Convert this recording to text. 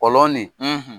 Kɔlɔn nin